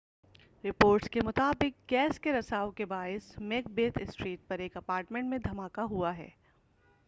reports کے مطابق gas کے رساؤ کے باعث میک بیتھ اسٹریٹ پر ایک اپارٹمنٹ میں دھماکہ ہوا ہے